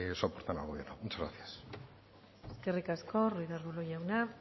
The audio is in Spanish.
soportan al gobierno muchas gracias eskerrik asko ruiz de arbulo jauna